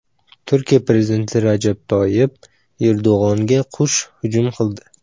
Turkiya prezidenti Rajab Toyyib Erdo‘g‘onga qush hujum qildi.